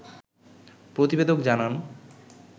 প্রতিবেদক জানান